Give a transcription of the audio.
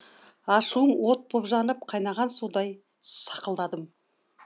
ашуым от боп жанып қайнаған судай сақылдадым